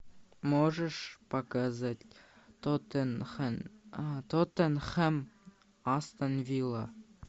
можешь показать тоттенхэм астон вилла